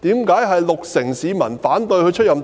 為甚麼六成市民反對她出任特首？